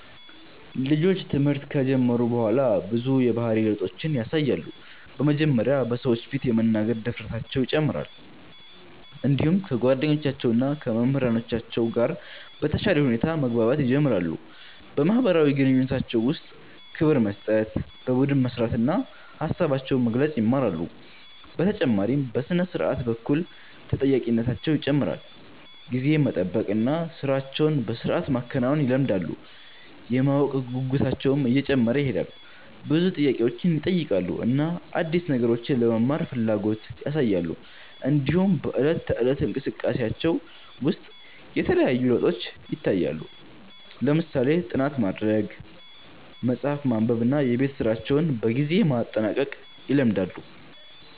ልጆች ትምህርት ከጀመሩ በኋላ ብዙ የባህሪ ለውጦችን ያሳያሉ። በመጀመሪያ በሰዎች ፊት የመናገር ድፍረታቸው ይጨምራል፣ እንዲሁም ከጓደኞቻቸው እና ከመምህራኖቻቸው ጋር በተሻለ ሁኔታ መግባባት ይጀምራሉ። በማህበራዊ ግንኙነታቸው ውስጥ ክብር መስጠት፣ በቡድን መስራት እና ሀሳባቸውን መግለጽ ይማራሉ። በተጨማሪም በሥነ-ስርዓት በኩል ተጠያቂነታቸው ይጨምራል፣ ጊዜን መጠበቅ እና ሥራቸውን በሥርዓት ማከናወን ይለምዳሉ። የማወቅ ጉጉታቸውም እየጨመረ ይሄዳል፣ ብዙ ጥያቄዎችን ይጠይቃሉ እና አዲስ ነገሮችን ለመማር ፍላጎት ያሳያሉ። እንዲሁም በዕለት ተዕለት እንቅስቃሴያቸው ውስጥ የተለያዩ ለውጦች ይታያሉ፣ ለምሳሌ ጥናት ማድረግ፣ መጽሐፍ ማንበብ እና የቤት ስራቸውን በጊዜ ማጠናቀቅ ይለምዳሉ።